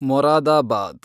Moradabad